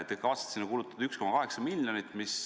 Te kavatsete kulutada 1,8 miljonit.